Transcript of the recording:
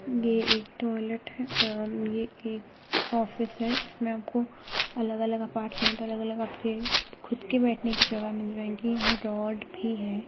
ये एक टॉइलेट है ये एक ऑफिस है इसमे आपको अलग अलग अपार्टमेंट अलग अलग आपके खुद के बैठने की जगह मिल जाएगी | यह एक ड्रॉर भी है |